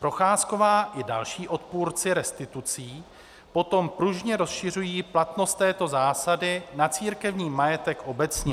Procházková i další odpůrci restitucí potom pružně rozšiřují platnost této zásady na církevní majetek obecně.